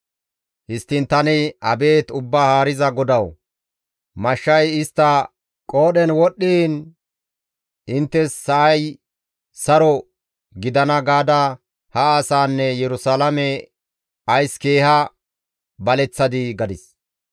Histtiin tani, «Abeet Ubbaa Haariza GODAWU! Mashshay istta qoodhen wodhdhiin, ‹Inttes sa7ay saro gidana› gaada ha asaanne Yerusalaame ays keeha baleththadii?» gadis.